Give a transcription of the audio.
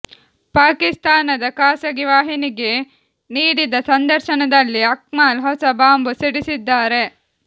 ಪಾಕಿಸ್ತಾನದ ಖಾಸಗಿ ವಾಹಿನಿಗೆ ನೀಡಿದ ಸಂದರ್ಶನದಲ್ಲಿ ಅಕ್ಮಲ್ ಹೊಸ ಬಾಂಬ್ ಸಿಡಿಸಿದ್ದಾರೆ